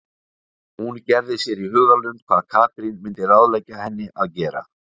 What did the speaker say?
Hún gerði sér í hugarlund hvað Katrín myndi ráðleggja henni að gera.